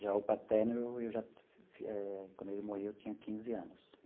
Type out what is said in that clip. Já o paterno, eu já eh quando ele morreu, eu tinha quinze anos.